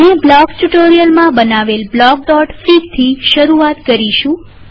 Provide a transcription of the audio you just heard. આપણે બ્લોકસ ટ્યુ્ટોરીઅલમાં બનાવેલ બ્લોકફીગથી શરૂઆત કરીશું